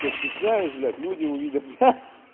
то есть стесняюсь блядь люди увидят ха ха